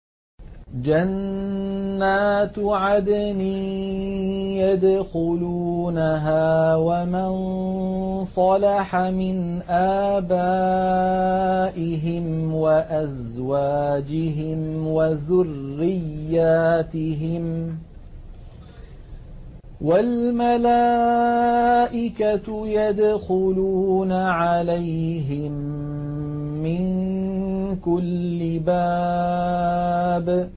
جَنَّاتُ عَدْنٍ يَدْخُلُونَهَا وَمَن صَلَحَ مِنْ آبَائِهِمْ وَأَزْوَاجِهِمْ وَذُرِّيَّاتِهِمْ ۖ وَالْمَلَائِكَةُ يَدْخُلُونَ عَلَيْهِم مِّن كُلِّ بَابٍ